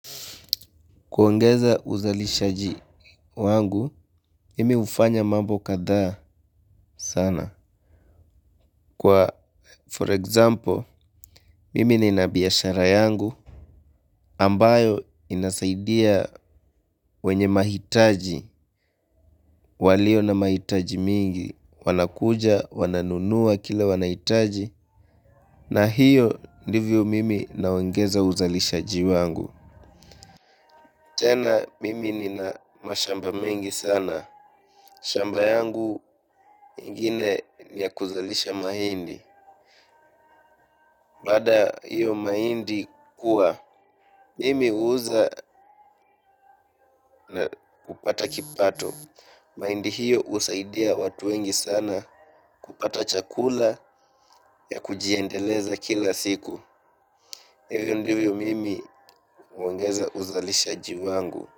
Kuongeza uzalishaji wangu, mimi hufanya mambo kadhaa sana. Kwa for example, mimi nina biashara yangu, ambayo inasaidia wenye mahitaji, walio na mahitaji mingi, wanakuja, wananunua, kile wanahitaji. Na hiyo, ndivyo mimi naongeza uzalishaji wangu. Tena mimi nina mashamba mengi sana. Shamba yangu ingine ya kuzalisha mahindi. Baada ya hiyo mahindi kuwa, mimi huuza kupata kipato. Mahindi hiyo husaidia watu wengi sana kupata chakula ya kujiendeleza kila siku. Hivyo ndivyo mimi huongeza uzalishaji wangu.